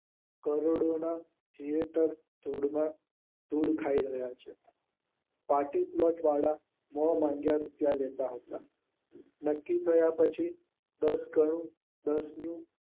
કરોડોના જીવતર તોડવા ધૂળ ખાય રહ્યા છે. પાલ્ટીપલોટવાળા મોં માંગ્યા રૂપિયા લેતા હતા નક્કી થયા પછી દાસ ગણું દસનું